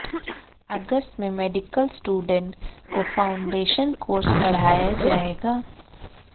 अगस्त में medical student को foundation course पढ़ाया जाएगा